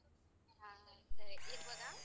ಹ ಸರಿ ಇಡ್ಬೋದ?